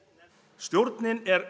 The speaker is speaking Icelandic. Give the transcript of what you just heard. stjórnin er